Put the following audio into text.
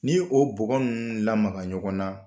N'i ye o bɔgɔ n lamaga ɲɔgɔn na